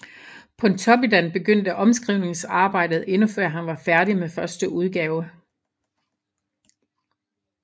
Pontoppidan begyndte omskrivningsarbejdet endnu før han var færdig med første udgave